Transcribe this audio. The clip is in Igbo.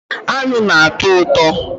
Aṅụ na-atọ ụtọ